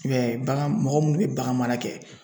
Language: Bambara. I b'a ye bagan mɔgɔ munnu be bagan mara kɛ